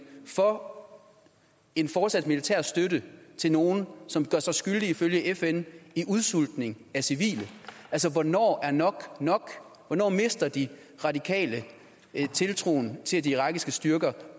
for en fortsat militær støtte til nogle som ifølge fn i udsultningen af civile hvornår er nok nok hvornår mister de radikale tiltroen til at de irakiske styrker